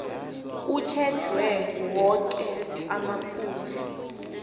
kutjhejwe woke amaphuzu